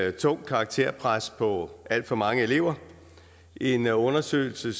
et tungt karakterpres på alt for mange elever en undersøgelse